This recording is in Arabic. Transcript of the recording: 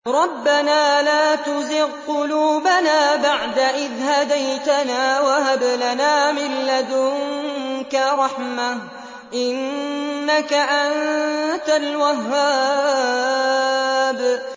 رَبَّنَا لَا تُزِغْ قُلُوبَنَا بَعْدَ إِذْ هَدَيْتَنَا وَهَبْ لَنَا مِن لَّدُنكَ رَحْمَةً ۚ إِنَّكَ أَنتَ الْوَهَّابُ